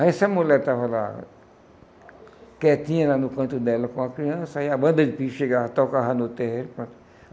Aí essa mulher estava lá, quietinha lá no canto dela com a criança, aí a banda de pife chegava, tocava no terreiro, pronto.